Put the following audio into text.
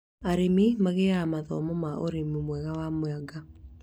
Arĩmi magĩaga mathomo ma ũrĩmi mwega wa mwanga